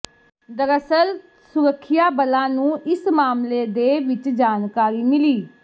ਦਰਅਸਲ ਸੁਰੱਖਿਆ ਬਲਾਂ ਨੂੰ ਇਸ ਮਾਮਲੇ ਦੇ ਵਿੱਚ ਜਾਣਕਾਰੀ ਮਿਲੀ